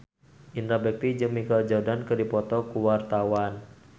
Indra Bekti jeung Michael Jordan keur dipoto ku wartawan